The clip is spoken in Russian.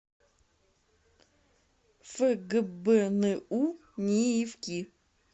фгбну ниифки